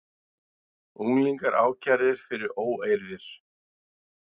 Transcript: Unglingar ákærðir fyrir óeirðir